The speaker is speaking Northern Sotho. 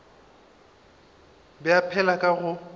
be a phela ka go